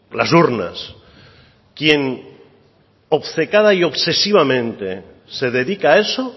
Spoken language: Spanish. las urnas quien obcecada y obsesivamente se dedica a eso